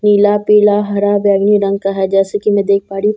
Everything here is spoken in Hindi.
नीला पीला हरा बैगनी रंग का है जैसे की मैं देख पा रही हूँ सामने --